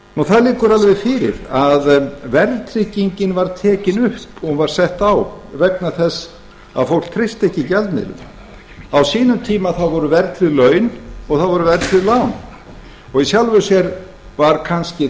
það liggur alla fyrir að verðtryggingin var tekin upp og var sett á vegna þess að fólk treysti gjaldmiðlinum á sínum tíma voru verðtryggð laun og það voru verðtryggð lán og í sjálfu sér var kannski